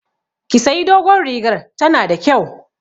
Ki sayi dogon rigar, ta na da kyau!